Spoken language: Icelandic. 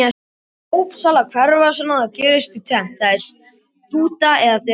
Þegar dópsalar hverfa svona gerist tvennt: Þeim er stútað eða þeir eru handteknir.